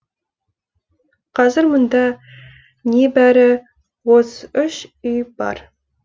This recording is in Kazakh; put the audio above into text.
қазір мұнда небәрі отыз үш үй бар